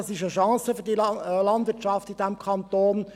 es ist eine Chance für die Landwirtschaft in diesem Kanton.